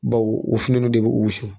Baw o fini ninnu de bi wusu.